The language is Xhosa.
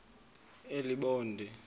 elibode